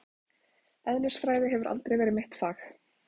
Eðlisfræði hefur aldrei verið mitt fag.